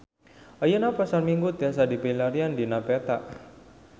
Ayeuna Pasar Minggu tiasa dipilarian dina peta